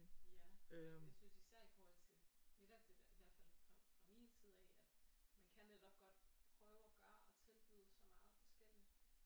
Ja jeg synes især i forhold til netop det der i hvert fald fra fra min side af at man kan netop godt prøve at gøre og tilbyde så meget forskelligt